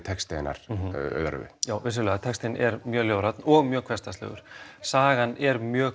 texti hennar Auðar Övu já vissulega textinn er mjög ljóðrænn og mjög hversdagslegur sagan er mjög